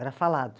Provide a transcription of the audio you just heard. Era falado.